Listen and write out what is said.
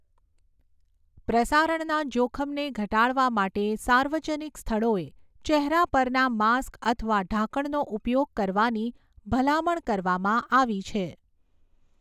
પ્રસારણના જોખમને ઘટાડવા માટે સાર્વજનિક સ્થળોએ ચહેરા પરના માસ્ક અથવા ઢાંકણનો ઉપયોગ કરવાની ભલામણ કરવામાં આવી છે.